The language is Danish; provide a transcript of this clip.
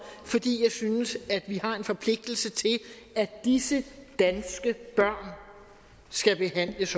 fordi jeg synes at vi har en forpligtelse til at disse danske børn skal behandles